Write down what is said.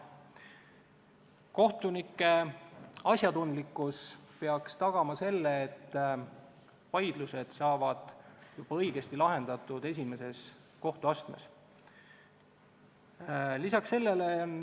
Kohtunike asjatundlikkus peaks tagama, et vaidlused saavad õigesti lahendatud juba esimeses kohtuastmes.